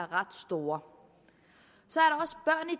ret store så